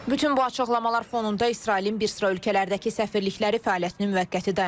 Bütün bu açıqlamalar fonunda İsrailin bir sıra ölkələrdəki səfirlikləri fəaliyyətini müvəqqəti dayandırıb.